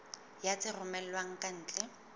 ya tse romellwang ka ntle